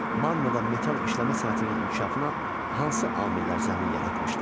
Manna metal işləmə sənətinin inkişafına hansı amillər zəmin yaratmışdı?